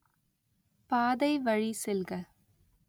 பாதை வழி செல்க